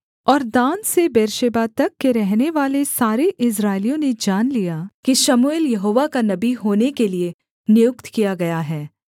और दान से बेर्शेबा तक के रहनेवाले सारे इस्राएलियों ने जान लिया कि शमूएल यहोवा का नबी होने के लिये नियुक्त किया गया है